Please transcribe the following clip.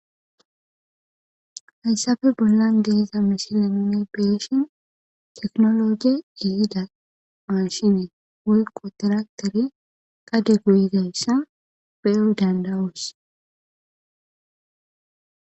Hayssafe bollan deheza mishilenne beeshin teknologie ihida maashinee woykko tiraktere qade guyidayssa peu dandawuus.